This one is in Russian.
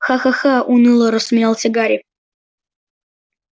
ха-ха-ха уныло рассмеялся гарри